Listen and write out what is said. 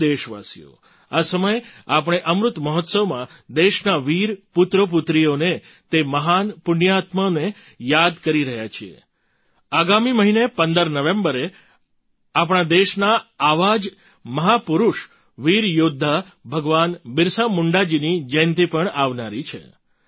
પ્રિય દેશવાસીઓ આ સમય આપણે અમૃત મહોત્સવમાં દેશના વીર પુત્રોપુત્રીઓને તે મહાન પુણ્યાત્માઓને યાદ કરી રહ્યા છીએ આગામી મહિને 15 નવેમ્બરે આપણઆ દેશના આવ જ મહાપુરુષ વીર યૌદ્ધા ભગવાન બિરસા મુંડાજીની જયંતી પણ આવનારી છે